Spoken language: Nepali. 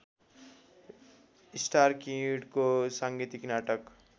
स्टारकिडको साङ्गीतिक नाटक